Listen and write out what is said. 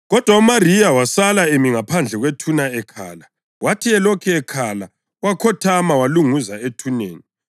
Kodwa uMariya wasala emi ngaphandle kwethuna ekhala. Wathi elokhu ekhala wakhothama walunguza ethuneni